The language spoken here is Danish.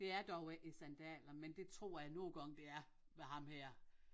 Det er dog ikke sandaler men det tror jeg nogle gange det er med ham her